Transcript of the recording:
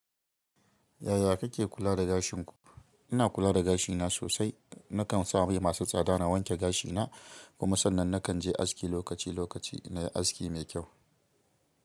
Yaya kike kula da gashinku? Ina kula da gashina sosai. Nakan sa mai masu tsada na wanke gashina, kuma sannan nakan je aski lokaci lokaci ina aski mai kyau.